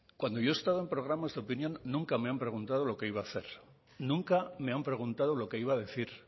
cuando yo he estado en programas de opinión nunca me han preguntado lo que iba a hacer nunca me han preguntado lo que iba a decir